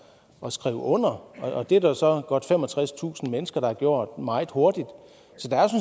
og skrive under og det er der så godt femogtredstusind mennesker der har gjort meget hurtigt